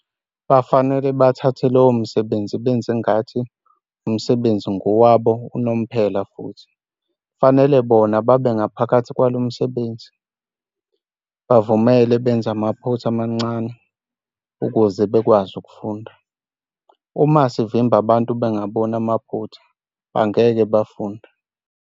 Bafanele bathathe lowo msebenzi benze ngathi umsebenzi ngowabo nomphumelo futhi - kufanele bona babe ngaphakathi kwalo msebenzi. Bavumele benze amaphutha amancane ukuze bakwazi ukufunda. Uma sivimba abantu bangaboni amaphutha bangeke bafunde.